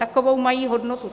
Takovou mají hodnotu.